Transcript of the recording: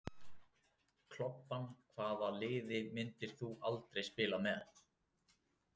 Klobbann Hvaða liði myndir þú aldrei spila með?